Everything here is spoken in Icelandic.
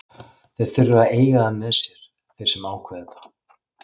Þeir þurfa að eiga það með sér, þeir sem ákveða þetta.